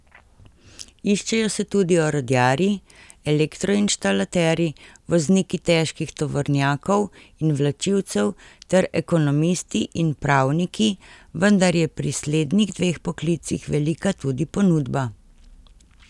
Iščejo se tudi orodjarji, elektroinštalaterji, vozniki težkih tovornjakov in vlačilcev ter ekonomisti in pravniki, vendar je pri slednjih dveh poklicih velika tudi ponudba.